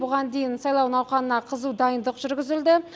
бұған дейін сайлау науқанына қызу дайындық жүргізілді